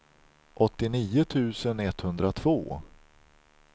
åttionio tusen etthundratvå